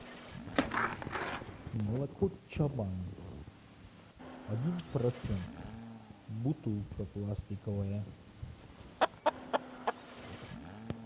молоко чабан один процент бутылка пластиковая